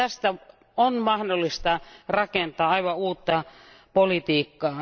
Tästä on mahdollista rakentaa aivan uutta politiikkaa.